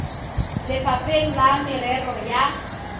ba lefapha la merero ya